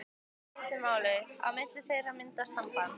Í stuttu máli: á milli þeirra myndast samband.